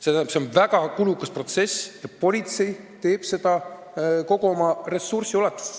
See on väga kulukas protsess ja politsei teeb seda kõikide oma ressurssidega.